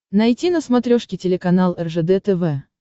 найти на смотрешке телеканал ржд тв